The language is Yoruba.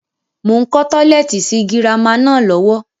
Mo ń kọ́ tọ́lẹ́ẹ́tì sì girama náà lọ́wọ́